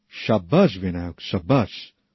শাবাশ Vinayak শাবাশ